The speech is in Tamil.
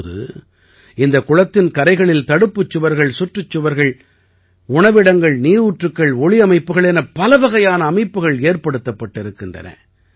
இப்போது இந்தக் குளத்தின் கரைகளில் தடுப்புச் சுவர்கள் சுற்றுச் சுவர்கள் உணவிடங்கள் நீரூற்றுக்கள் ஒளியமைப்புகள் என பலவகையான அமைப்புகள் ஏற்படுத்தப்பட்டிருக்கின்றன